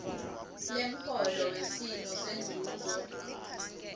lemholo wesimo senzuzo